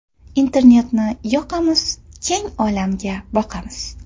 Internetni yoqamiz, Keng olamga boqamiz.